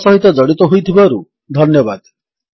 ଆମ ସହିତ ଜଡିତ ହୋଇଥିବାରୁ ଧନ୍ୟବାଦ